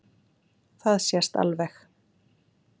Það sést alveg.